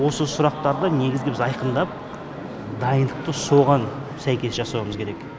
осы сұрақтарды негізгі біз айқындап дайындықты соған сәйкес жасауымыз керек